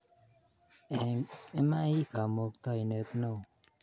Eng imai ii kamuktainet ne o